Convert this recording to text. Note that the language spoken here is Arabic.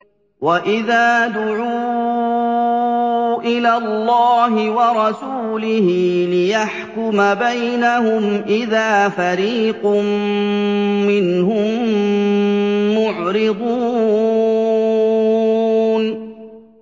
وَإِذَا دُعُوا إِلَى اللَّهِ وَرَسُولِهِ لِيَحْكُمَ بَيْنَهُمْ إِذَا فَرِيقٌ مِّنْهُم مُّعْرِضُونَ